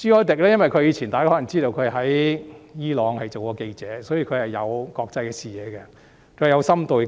大家可能知道，他曾經在伊朗當記者，所以他擁有國際視野，有深度分析能力。